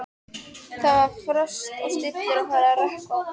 Það var frost og stillur og farið að rökkva.